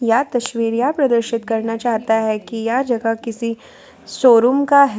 यह तस्वीर यह प्रदर्शित करना चाहता है कि यह जगह किसी शोरूम का है।